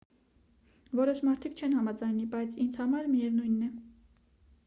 որոշ մարդիկ չեն համաձայնի բայց ինձ համար միևնույն է